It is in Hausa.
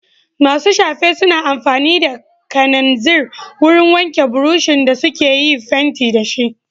Masu shafe suna amfani da kananzir wurin wanke burushin da suka yi fenti da shi.